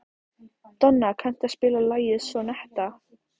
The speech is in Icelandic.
Donna, kanntu að spila lagið „Sonnetta“?